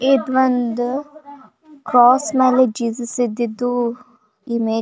ಇದು ಒಂದು ಕ್ರಾಸ್ ಮೇಲೆ ಜೀವಿಸಿದ್ದಿದ್ದು ಇಮೇಜ್ --